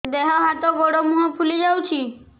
ଦେହ ହାତ ଗୋଡୋ ମୁହଁ ଫୁଲି ଯାଉଛି